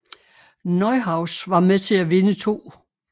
Neuhaus var med til at vinde 2